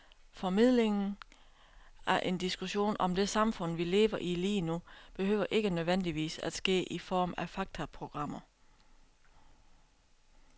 Formidlingen af en diskussion om det samfund, vi lever i lige nu, behøver ikke nødvendigvis at ske i form af faktaprogrammer.